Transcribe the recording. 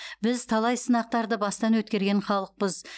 біз талай сынақтарды бастан өткерген халықпыз